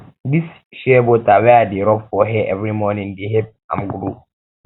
dis um shea butter wey i dey rob for hair every morning dey help am grow